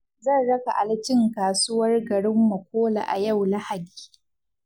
Zan raka Ali cin kasuwar garin Makole a yau Lahadi.